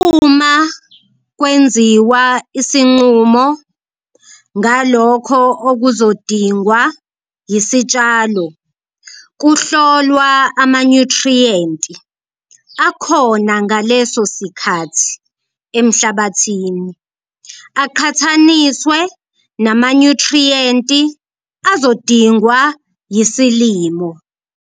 Uma kwenziwa isinqumo ngalokho okuzodingwa yisitshalo kuhlolwa amanyuthriyenti akhona ngaleso sikhathi emhlabathini aqhathaniswe namanyuthriyenti azodingwa yisilimo.